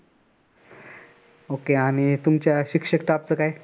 okay आणि तुमच्या शिक्षक staff च काय?